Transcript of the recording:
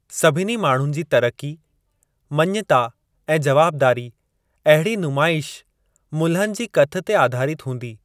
सभिनी माण्हुनि जी तरक़ी, मञता ऐं जवाबदारी, अहिड़ी नुमाइश, मुल्हनि जी कथ ते आधारित हूंदी।